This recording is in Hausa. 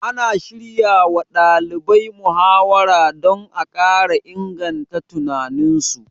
Ana shiryawa ɗalibai muhawara don a ƙara inganta tunaninsu